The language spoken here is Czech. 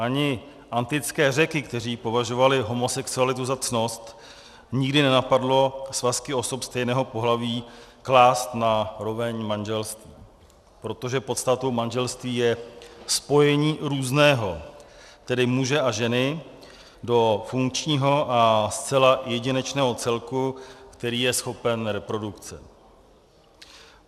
Ani antické Řeky, kteří považovali homosexualitu za ctnost, nikdy nenapadlo svazky osob stejného pohlaví klást na roveň manželství, protože podstatou manželství je spojení různého, tedy muže a ženy, do funkčního a zcela jedinečného celku, který je schopen reprodukce.